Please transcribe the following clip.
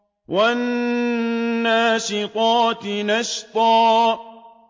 وَالنَّاشِطَاتِ نَشْطًا